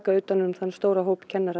utan um þann stóra hóp